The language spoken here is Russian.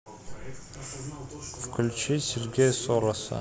включи сергея сороса